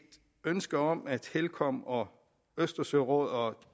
ønske om at helcom og østersørådet og